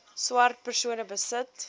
swart persone besit